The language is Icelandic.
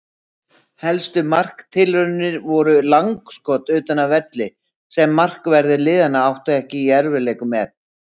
Helstu marktilraunir voru langskot utan af velli sem markverðir liðanna áttu ekki í erfiðleikum með.